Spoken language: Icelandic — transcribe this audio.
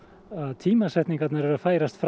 tímasetningarnar eru að færast fram